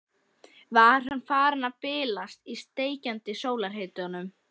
Var hann farinn að bilast í steikjandi sólarhitanum?